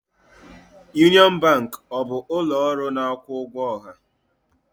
Union Bank ọ bụ ụlọ ọrụ na-akwụ ụgwọ ọha?